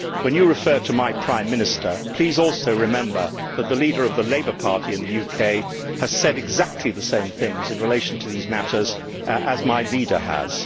When you refer to my Prime Minister, please also remember that the leader of the Labour Party in the UK has said exactly the same things in relation to these matters as my leader has.